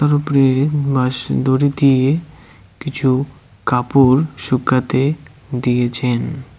উপরে বাঁশ দড়ি দিয়ে কিছু কাপড় শুকাতে দিয়েছেন।